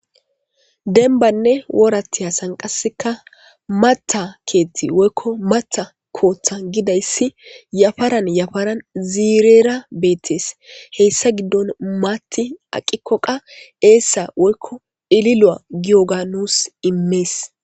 Denbanne wooratiya sanqaseka mata keethti woykko mata kootha gidayssi yafaran yafaran ziirera beettees heyssa giddon maatti aqikkoqa eessa woykko ililo'a gioga nuus immees.